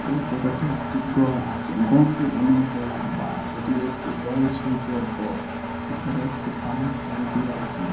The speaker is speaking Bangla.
এই ফটো তে একটি ঘর আছে ঘরটি অনেক লাম্বা এটি একটি এল শেপের ঘর উপরে একটি পানির ট্যাঙ্কি আছে।